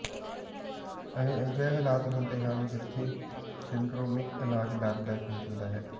ਅਜਿਹੇ ਹਾਲਾਤ ਹੁੰਦੇ ਹਨ ਜਿੱਥੇ ਸਿੰਡਰੋਮਿਕ ਇਲਾਜ ਲਾਭਦਾਇਕ ਹੋ ਸਕਦਾ ਹੈ